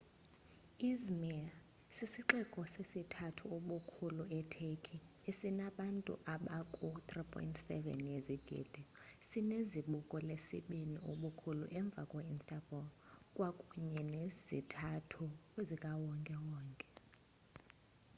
i̇zmir sisixeko sesithathu ubukhulu e-turkey esinabantu aba ku 3.7 yezigidi sine zibuko lesibini ubukhulu emva kwe instabul kwakunye nezithuthi zikawonkewonke